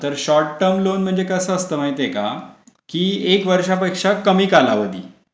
तर short term loan म्हणजे कसं असतं माहितीये का? की एक वर्षापेक्षा कमी कालावधी.